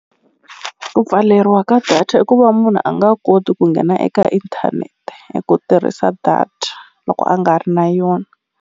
Ku pfaleriwa ka data i ku va munhu a nga koti ku nghena eka inthanete hi ku tirhisa data loko a nga ri na yona.